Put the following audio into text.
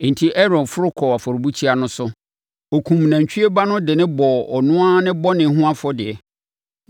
Enti Aaron foro kɔɔ afɔrebukyia no so. Ɔkumm nantwie ba no de bɔɔ ɔno ara ne bɔne ho afɔdeɛ.